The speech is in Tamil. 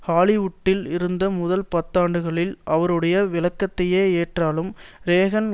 ஹாலிவுட்டில் இருந்த முதல் பத்தாண்டுகளில் அவருடைய விளக்கத்தையே ஏற்றாலும் றேகன்